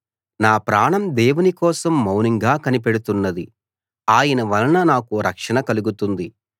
నా ప్రాణం దేవుని కోసం మౌనంగా కనిపెడుతున్నది ఆయన వలన నాకు రక్షణ కలుగుతుంది